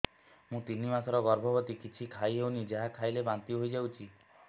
ମୁଁ ତିନି ମାସର ଗର୍ଭବତୀ କିଛି ଖାଇ ହେଉନି ଯାହା ଖାଇଲେ ବାନ୍ତି ହୋଇଯାଉଛି